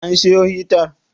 An siyo hitar?